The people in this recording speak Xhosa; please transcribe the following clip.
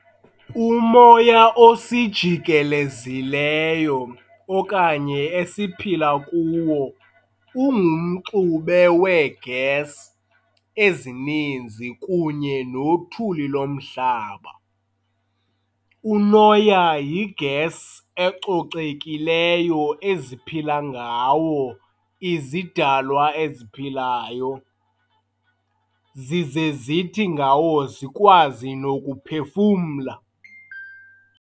Umoya osijikeleziyo okanye esiphila kuwo ungumxube wee-gas ezininzi kunye nothuli lomhlaba. Unoya yi-gas ecocekileyo eziphila ngawo izidalwa eziphilayo, zize zithi ngawo zikwazi nokuphefumla.